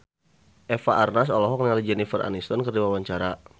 Eva Arnaz olohok ningali Jennifer Aniston keur diwawancara